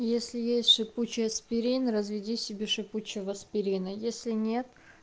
если есть шипучий аспирин разведи себе шипучего аспирина если нет